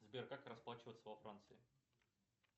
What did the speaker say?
сбер как расплачиваться во франции